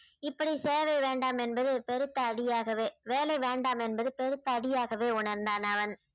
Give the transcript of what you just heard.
இப்படி சேவை வேண்டாம் என்பது பெருத்த அடியாகவே வேலை வேண்டாம் என்பது பெருத்த அடியாகவே உணர்ந்தான் அவன்